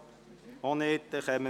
– Dies ist nicht der Fall.